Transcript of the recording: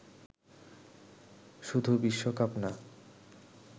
শুধু বিশ্বকাপ না